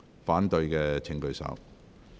反對的請舉手。